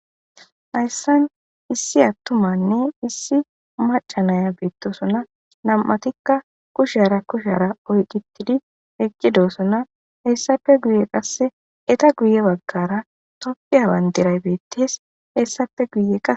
Hayssan issi attumanne issi macanaya beettosona nam'atikka kushara kushara oyqitidi eqqidosona hessafe guye qasse eta guye baggara toppiyawan deray beettees hessafe guye qa